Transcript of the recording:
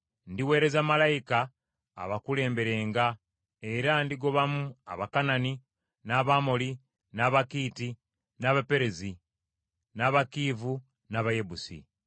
Ndiweereza malayika abakulemberenga; era ndigobamu Abakanani, n’Abamoli, n’Abakiiti, n’Abaperezi, n’Abakiivi n’Abayebusi.